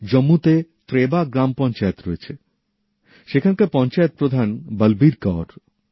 জম্মুতে ত্রেবা গ্রাম পঞ্চায়েত আছে সেখানকার পঞ্চায়েত প্রধান বলবীর কাউর